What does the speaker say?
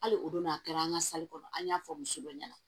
Hali o don n'a kɛra an ka kɔnɔ an y'a fɔ muso dɔ ɲɛna